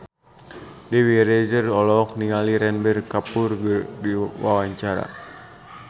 Dewi Rezer olohok ningali Ranbir Kapoor keur diwawancara